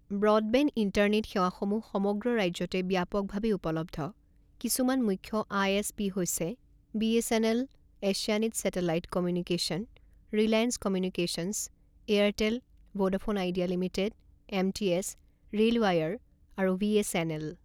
Broadband internet সেৱা সমূহ সমগ্ৰ ৰাজ্যতে ব্যাপকভাৱে উপলব্ধ; কিছুমান মুখ্য আই.এছ.পি হৈছে BSNL, Asianet satellite communication, Reliance communications, Airtel, Vodafone Idea limited, MTS, RailWire আৰু ভি.এছ.এন.এল।